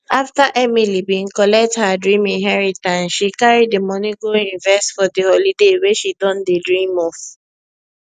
after emily been collect her dream inheritance she carry the money go invest for the holiday wey she don dey dream of